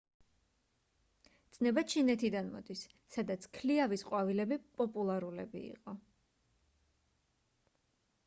ცნება ჩინეთიდან მოდის სადაც ქლიავის ყვავილები პოპულარულები იყო